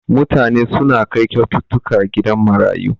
Mutane suna kai kyaututtuka gidan marayu.